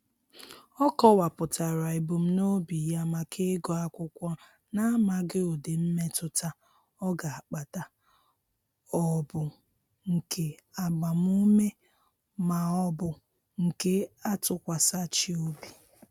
Ọ kọwapụtara ebumnobi ya maka ịgụ akwụkwọ na-amaghị ụdị mmetụta ọ ga-akpata ọ bụ nke agbamume maọbụ nke atụkwasachị obi.